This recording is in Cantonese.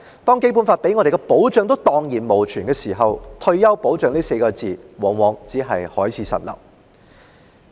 當《基本法》給予香港人的保障蕩然無存，"退休保障"這4字往往只是海市蜃樓而已。